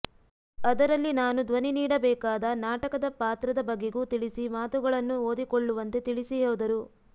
ಅದರಲ್ಲಿ ನಾನು ಧ್ವನಿ ನೀಡಬೇಕಾದ ನಾಟಕದ ಪಾತ್ರದ ಬಗೆಗೂ ತಿಳಿಸಿ ಮಾತುಗಳನ್ನು ಓದಿಕೊಳ್ಳುವಂತೆ ತಿಳಿಸಿ ಹೋದರು